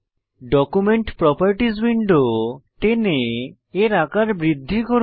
document properties window টেনে এর আকার বৃদ্ধি করুন